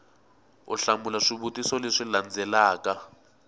u hlamula swivutiso leswi landzelaka